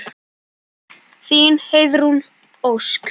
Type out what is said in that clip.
Þín, Heiðrún Ósk.